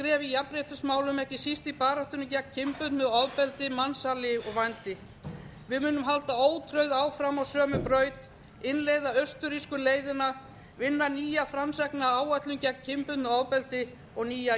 jafnréttismálum ekki síst í baráttunni gegn kynbundnu ofbeldi mansali og vændi við munum halda ótrauð áfram á sömu braut innleiða austurrísku leiðina vinna nýja framsækna áætlun gegn kynbundnu ofbeldi og nýja